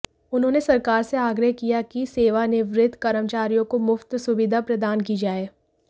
उन्होंने सरकार से आग्रह किया कि सेवानिवृत्त कर्मचारियों को मुफ्त सुविधा प्रदान की जाए